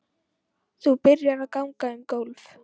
Þú byrjar að ganga um gólf.